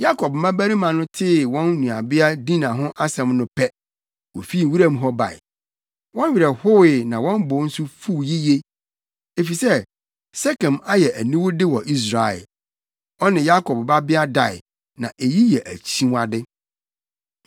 Yakob mmabarima no tee wɔn nuabea Dina ho asɛm no pɛ, wofii wuram hɔ bae. Wɔn werɛ howee na wɔn bo nso fuw yiye, efisɛ Sekem ayɛ aniwude wɔ Israel. Ɔne Yakob babea dae, na eyi yɛ akyiwade.